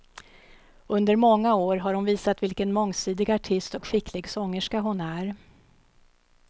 Under många år har hon visat vilken mångsidig artist och skicklig sångerska hon är.